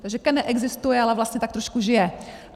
Takže KEN neexistuje, ale vlastně tak trošku žije.